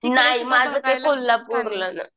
नाही माझं ते कोल्हापूर